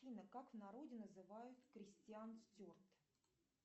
афина как в народе называют крестьян стюарт